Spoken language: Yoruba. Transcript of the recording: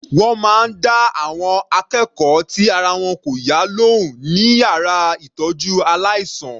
Wọ́n máa dá àwọn akẹ́kọ̀ọ́ tí ara wọn kò yá lóhùn ní yàrá ìtọ́jú aláìsàn.